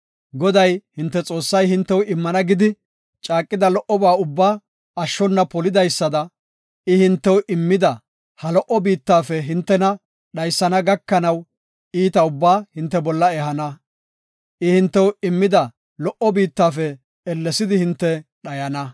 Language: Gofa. Goday, hinte Xoossay hintew immana gidi caaqida lo77oba ubbaa ashshona polidaysada, I hintew immida ha lo77o biittafe hintena dhaysana gakanaw iita ubbaa hinte bolla ehana. I hintew immida lo77o biittafe ellesidi hinte dhayana.”